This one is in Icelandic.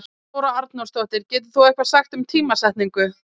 Þóra Arnórsdóttir: Getur þú eitthvað sagt um tímasetningu?